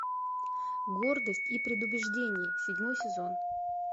гордость и предубеждение седьмой сезон